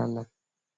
ala